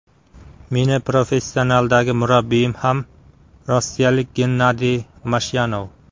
Meni professionaldagi murabbiyim ham rossiyalik Gennadiy Mashyanov.